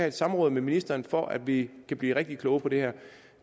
et samråd med ministeren for at vi kan blive rigtig kloge på det her